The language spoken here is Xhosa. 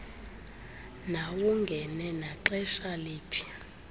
mawungene naxesha liphi